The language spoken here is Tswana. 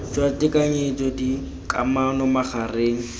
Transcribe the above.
jwa tekanyetso d kamano magareng